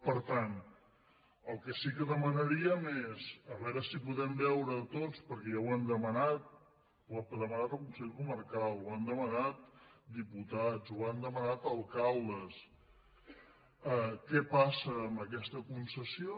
per tant el que sí que demanaríem és a veure si podem veure tots perquè ja ho hem demanat ho ha demanat el consell comarcal ho han demanat diputats ho han demanat alcaldes què passa amb aquesta concessió